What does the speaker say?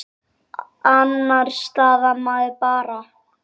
Annars staðnar maður bara.